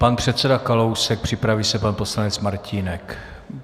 Pan předseda Kalousek, připraví se pan poslanec Martínek.